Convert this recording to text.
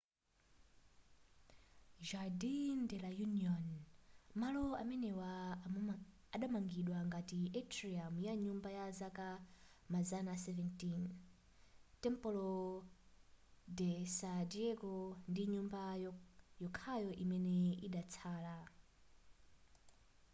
jardín de la unión. malo amenewa adamangidwa ngati atrium ya nyumba ya zaka mazana 17 templo de sa diego ndi nyumba yokhayo imene idatsala